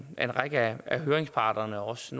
en række af høringsparterne også